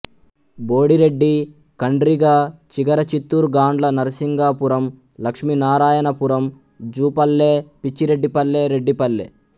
Bodireddy Kandriga Chigarachittoor Gandla Narasingapuram Lakshminarayanapuram Jupalle Pichireddipalle Reddipalle